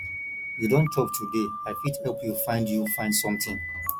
you don chop today i fit help you find you find something